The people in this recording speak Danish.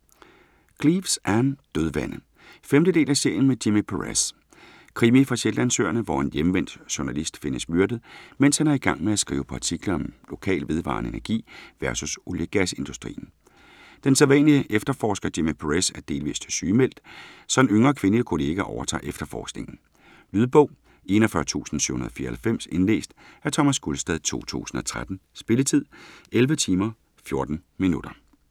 Cleeves, Ann: Dødvande 5. del af serien med Jimmy Perez. Krimi fra Shetlandsøerne, hvor en hjemvendt journalist findes myrdet, mens han er i gang med at skrive på artikler om lokal, vedvarende energi vs. olie-og gasindustrien. Den sædvanlige efterforsker, Jimmy Perez, er delvist sygemeldt, så en yngre, kvindelig kollega overtager efterforskningen. Lydbog 41794 Indlæst af Thomas Gulstad, 2013. Spilletid: 11 timer, 14 minutter.